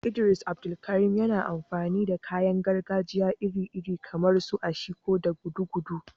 Idris Abdulkarim, yana amfani da kayan gargajiya iri-iri kamar su ashiko da gudugudu.